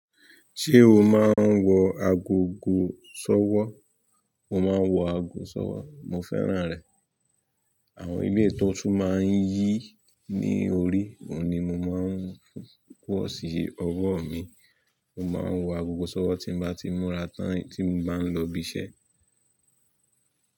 Ṣé o máa ń wọ agogọ̀ sọ́wọ́? Mo máa ń wọ ago sọ́wọ́, mo fẹ́ràn rẹ̀. Àwọn eleyi to tun máa ń yí i ní orí, òun ni mo máa ń wo sí ọwọ́ mi. Mo máa ń wọ agogọ̀ sọ́wọ́ tí mo bá ti múra tán tí mo bá ń lọ ibi iṣẹ́.